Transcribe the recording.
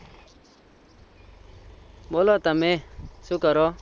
બોલો તમે તમે શું કરો?